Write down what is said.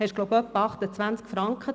Diese kostete ungefähr 28 Franken.